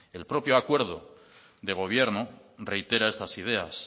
el propio acuerdo de gobierno reitera estas ideas